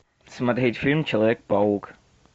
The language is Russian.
смотреть фильм человек паук